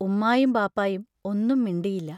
ഉമ്മായും ബാപ്പായും ഒന്നും മിണ്ടിയില്ല.